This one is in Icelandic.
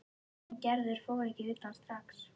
En Gerður fór ekki utan strax.